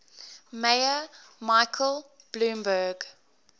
mayor michael bloomberg